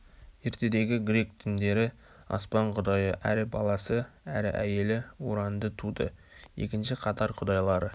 ертедегі грек діндері аспан құдайы әрі баласы әрі әйелі уранды туды екінші қатар құдайлары